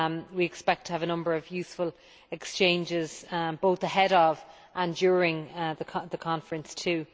We expect to have a number of useful exchanges both ahead of and during the conference, too.